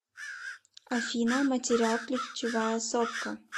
афина материал ключевая сопка